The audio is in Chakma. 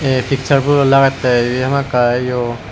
a picture bulloi lagette ibi hamakkiy iyo.